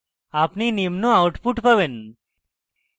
আপনি নিম্ন output পাবেন: